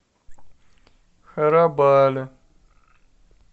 харабали